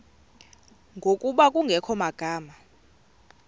ngokuba kungekho magama